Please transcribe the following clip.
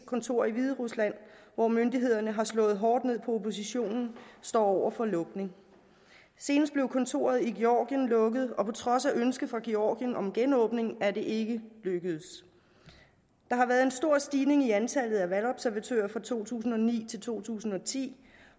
kontor i hviderusland hvor myndighederne har slået hårdt ned på oppositionen står over for lukning senest blev kontoret i georgien lukket og på trods af ønske fra georgien om genåbning er det ikke lykkedes der har været en stor stigning i antallet af valgobservatører fra to tusind og ni til to tusind og ti